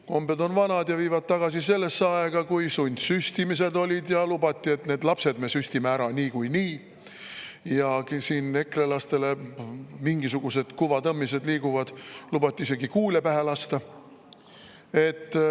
Kombed on vanad ja viivad tagasi sellesse aega, kui sundsüstimised olid ja lubati, et lapsed me süstime ära niikuinii, ja ekrelastele – mingisugused kuvatõmmised liiguvad – lubati isegi kuule pähe lasta.